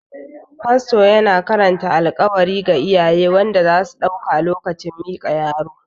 Fasto yana karanta alkawali wa iyaye wanda zasu dauka lokacin miƙa yaro